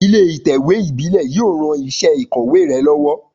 Ilé ìtẹ̀wé ìbílé yio ran isé ìkòwé re lówó